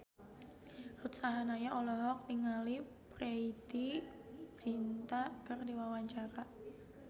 Ruth Sahanaya olohok ningali Preity Zinta keur diwawancara